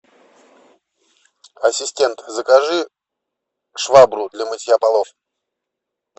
ассистент закажи швабру для мытья полов